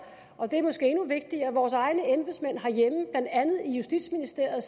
og det er måske endnu vigtigere vores egne embedsmænd herhjemme blandt andet i justitsministeriet